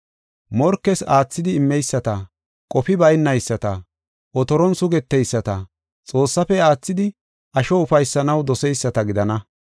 morkees aathidi immeyisata, qofi baynayisata, otoron sugeteyisata, Xoossaafe aathidi asho ufaysanaw doseyisata gidana.